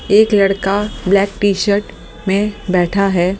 एक लड़का black t-shirt में बैठा है।